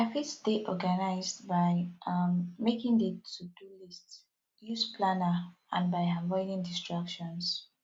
i fit stay organized by um making di todo list use planner and by avoiding distractions